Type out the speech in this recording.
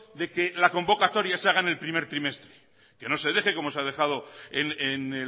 de que la convocatoria se haga en el primer trimestre que no se deje como se ha dejado en